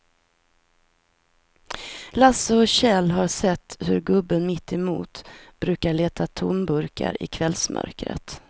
Lasse och Kjell har sett hur gubben mittemot brukar leta tomburkar i kvällsmörkret.